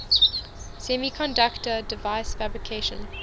semiconductor device fabrication